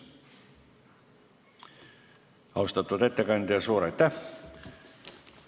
Austatud ettekandja, suur aitäh!